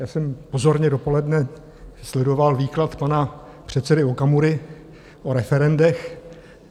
Já jsem pozorně dopoledne sledoval výklad pana předsedy Okamury o referendech.